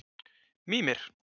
Mímir